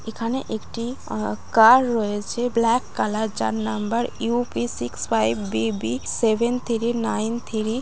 এখানে একটি a car রয়েছে। ব্ল্যাক কালার যার number UP. Six five BB. Seven three nine three.